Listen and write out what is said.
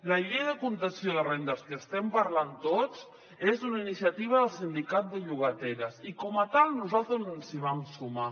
la llei de contenció de rendes de què estem parlant tots és una iniciativa del sindicat de llogateres i com a tal nosaltres ens hi vam sumar